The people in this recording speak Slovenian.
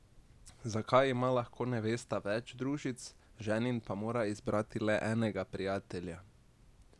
Zakaj ima lahko nevesta več družic, ženin pa mora izbrati le enega prijatelja?